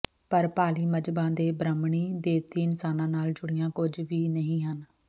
ਪਰ ਪਾਲੀ ਮਜ਼ਹਬਾਂ ਦੇ ਬ੍ਰਾਹਮਣੀ ਦੇਵਤੇ ਇਨਸਾਨਾਂ ਨਾਲ ਜੁੜੀਆਂ ਕੁੱਝ ਵੀ ਨਹੀਂ ਹਨ